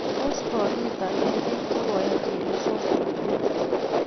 Tos kokiita nee biik che koyai chelesonatet?